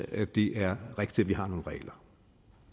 at det er rigtigt at vi har nogle regler